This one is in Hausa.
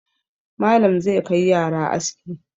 Malam zai kai yara aski.